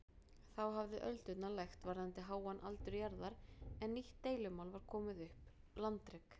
Þá hafði öldurnar lægt varðandi háan aldur jarðar en nýtt deilumál var komið upp- landrek.